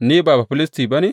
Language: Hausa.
Ni ba Bafilistin ba ne?